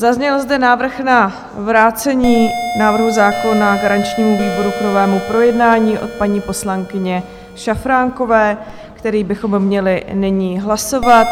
Zazněl zde návrh na vrácení návrhu zákona garančnímu výboru k novému projednání od paní poslankyně Šafránkové, který bychom měli nyní hlasovat.